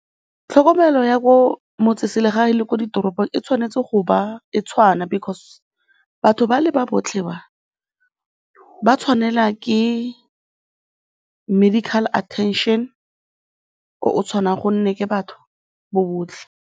Tlhokomelo ya ko motseselegae le ko ditoropong e tshwanetse go ba e tshwana because batho ba le ba botlhe ba, ba tshwanelwa ke medical attention o o tshwanang gonne ke batho bo botlhe.